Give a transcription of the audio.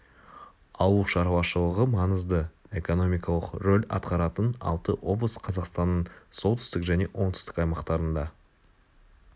ауыл шарушылығы маңызды экономикалық рөл атқаратын алты облыс қазақстанның солтүстік және оңтүстік аймақтарында